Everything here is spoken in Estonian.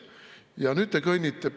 Ja nüüd te kõnnite ...